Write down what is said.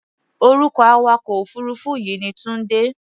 Orúkọ awakọ̀-òfuurufú yìí ni Tunde.